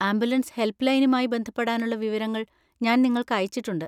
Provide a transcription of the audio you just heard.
Ambulance help ലൈനുമായി ബന്ധപ്പെടാനുള്ള വിവരങ്ങൾ ഞാൻ നിങ്ങൾക്ക് അയച്ചിട്ടുണ്ട്.